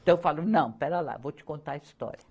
Então, eu falo, não, pera lá, vou te contar a história.